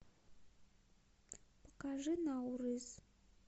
покажи наурыз